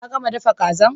Ka gama dafa kazan?